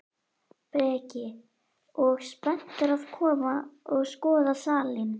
Breki: Og spenntur að koma og skoða salinn?